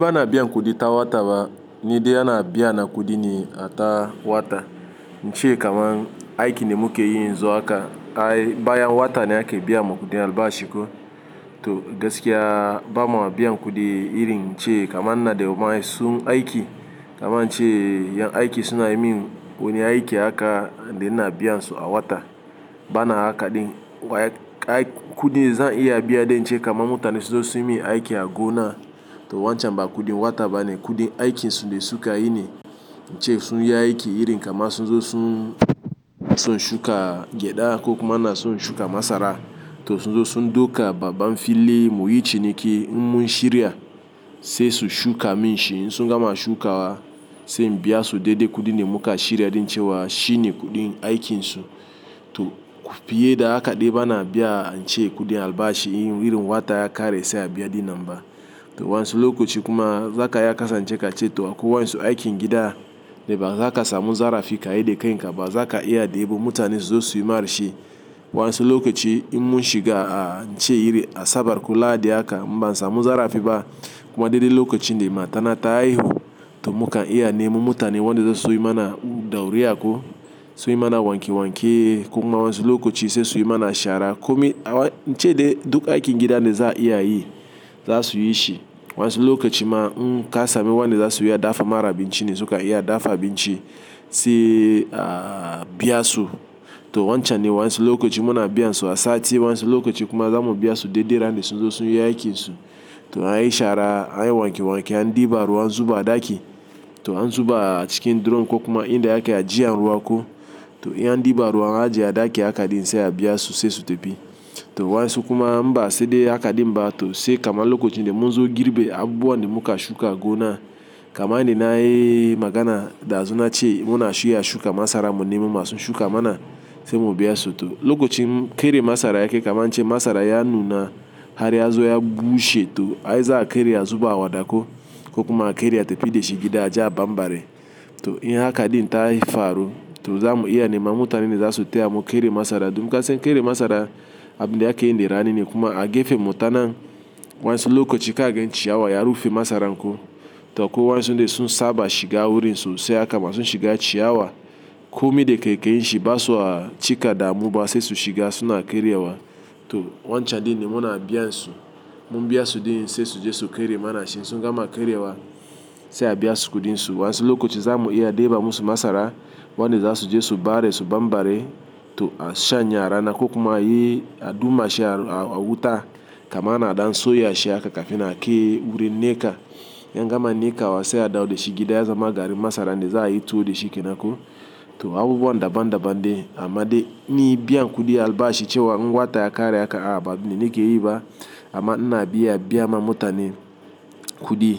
Bana biyan kudi ta wata ba ni dai ana biya na kudi ne a ta wata, ince kaman aiki de muke yi yanzu haka ai bayan wata ne ake biyan mu kudin albashi ko. To gaskiya ba ma biyan kudi irin ce kaman ina da ma su aiki kaman ince ya aiki suna yi min wani aiki haka da ina biyan su a wata. Bana haka din, waya-- ai-- kudin zan iya biya din ce kaman mutane sunzo su yi min aiki a gona to wancan ba kudin wata ba ne kudin aikin su ne da su ka yi ne ince sun yi aiki irin kaman su zo sun, sun shuka gyada ko kuma ina son shuka masara to su zo sun duka baban fili mu yi ciniki in mun shirya sai su shuka min shi in su gama shukawa sai in biya su daidai kudi da muka shirya din ce wa shi ne kudi aikinsu. Toh fiye, da haka dai bana biya ince kudin albashi irin wata ya kare sai a biya din nan ba. Toh wa'ansun lokaci kuma zaka iya kasance ka ce toh akwai wa'ansu aikin gida wanda ba zaka samu zarafi kayi da kanka ba zaka iya daibo mutane su zo suyi ma shi. Wa'ansu lokaci in mun shiga ince iri asabar ko lahadi haka in ban samu zarafi ba, kuma dai dai lokacin da matana ta haihu to mukan iya neman mutane wanda zasu so yi mana dauriya ko so yi mana wanke wanke ko ma wa'ansu lokaci sai su yi mana shara. Komi awa-- ince dai duk aikin gida ne za a iya yi za su yi shi. Wa'ansu lokaci ma in kasa mi wa'anda za su yi dafa ma abinci ne suka iya dafa abin ci sai a biya su. To wancan ne wa'ansu lokaci muna biya su a sati wa'ansu lokaci kuma zamu biya su daidai rana da sun zo sun yi aikinsu. To an yi shara, an yi wanke wanke, an ɗiba ruwa a zuba a ɗaki to an zuba cikin drum ko kuma inda aka ajiye ruwa ko toh in, an diba ruwa an aje a daki haka din sai a biya su sai su tafi. To wa'ansu kuma in ba saida haka din ba to sai kaman lokacin da mun zo girbe abubuwan da muka shuka a gona kaman yanda na yi magana dazun na ce muna shi ya shuka masara mun nemi masu shuka mana sai mu biya su. To lokacin keri masara yakai kaman in ce masara ya nuna har ya zo ya bushe to ai za a kare a zuba a waɗa ko. Ko kuma a kare a tafi dashi gida aje a bambare. To in haka din ta faru to zamu iya neman mutanen da za su taya mu kare masara. Dun kasan kere masara abin da aka yi a rani ne kuma a gefemu tanan wa'ansu lokaci ka gan ciyawa ya rufe masaran ko to ko wa'ansu dai sun saba shiga wurin sosai haka ma su shiga ciyawa komi da kaikayin basa, cika damu ba sai su shiga suna karyawa toh wancan din ne muna biyan su. Mun biya su din sai su je su kare mana shi in su gama karewa sai a biya su kudin su. Wa'ansu lokacin zamu iya dai ba musu masara wan da za su je su bare su bambare to a shanye a rana ko kuma yi aduma shi a wuta kaman ana dan so ya shi haka kafin a kai wurin neka. In an gama neka wa sai a ɗawo da shi gida ya zama garin masara ne za a yi tuwo da shi kenan ko. To abubuwa daban daban de amma dai ni biyan kudi albashi ce wa wata ya kare haka a ba abun da nake yi ba amma ina biya biya ma mutane. Kudi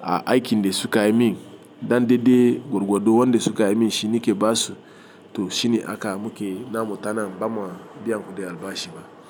a aikin da suka yi min dan daidai gwargwado wanda. Suka yi min shi nake basu to shi ne haka muke na mutanen ba ma biyan kudi albashi ba.